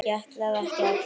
Ég ætlaði ekki að.